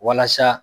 Walasa